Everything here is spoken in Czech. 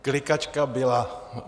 Klikačka byla.